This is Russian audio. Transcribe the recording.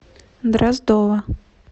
дроздова